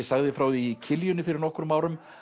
sagði frá því í Kiljunni fyrir nokkrum árum